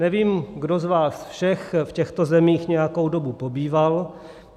Nevím, kdo z vás všech v těchto zemích nějakou dobu pobýval.